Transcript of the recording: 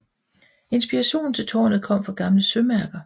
Inspirationen til tårnet kom fra gamle sømærker